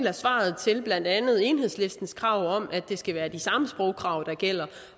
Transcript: af svaret til blandt andet enhedslistens krav om at det skal være de samme sprogkrav der gælder